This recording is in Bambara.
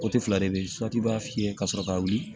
fila de be yen i b'a fiyɛ ka sɔrɔ ka wuli